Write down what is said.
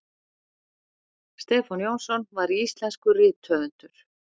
stefán jónsson var íslenskur rithöfundur